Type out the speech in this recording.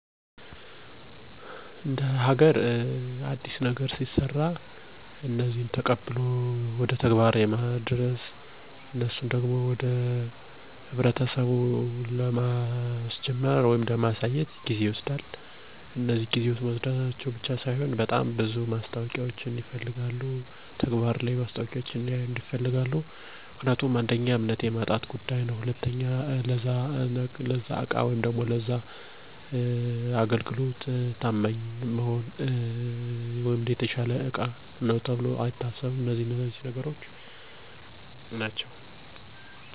አዲስ ነገር የመሞከር እና የመቀበል ባህላችን አናሳ ስለሆነ ይሄን ነገር በሚያዩ ጊዜ የመደናገር እና የመደንገጥ ባህሪ ይታይባቸዋል። ነገርግን ደጋግሞ በማሳየት እና በማስተማር ነገሮችን በቀላሉ እንዲረዱ ማድረግ ይቻላል። ለምሳሌ ተሽከርካሪዎችን ራሳችን መጀመርያ ተጠቅመን ማሳየት እና እነሱም እንዲሞክሩት መገፋፋት አለብን። ከዚህ በተጨማሪ ስለ መሳሪያዎቹ ጥቅም እና አገልግሎት ማስረዳት ይኖርብናል። ይሄን ማድረግ ከቻልን ማህበረሰቡ ነገሮችን በሂደት እንዲቀበሉን ማድረግ ያስችለናል።